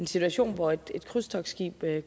situation hvor et krydstogtskib